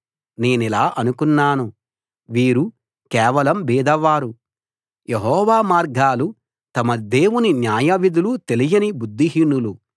నేనిలా అనుకున్నాను వీరు కేవలం బీదవారు యెహోవా మార్గాలు తమ దేవుని న్యాయవిధులు తెలియని బుద్ధిహీనులు